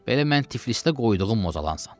Belə mən Tiflisdə qoyduğum ozalansan.